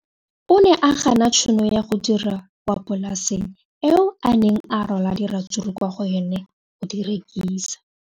O ne a gana tšhono ya go dira kwa polaseng eo a neng rwala diratsuru kwa go yona go di rekisa.